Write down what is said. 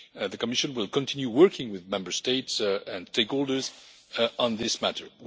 The Commission will continue working with Member States and stakeholders on this matter.